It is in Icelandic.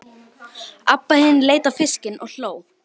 Abba hin leit á fiskinn og hló.